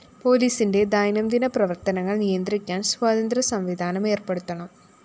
പോലീസിന്റെ ദൈനംദിന പ്രവര്‍ത്തനങ്ങള്‍ നിയന്ത്രിക്കാന്‍ സ്വതന്ത്ര സംവിധാനം ഏര്‍പ്പെടുത്തണം